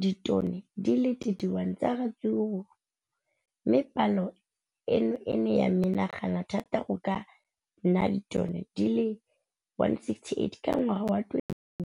ditone di le 31 tsa ratsuru mme palo eno e ne ya menagana thata go ka nna ditone di le 168 ka ngwaga wa 2016.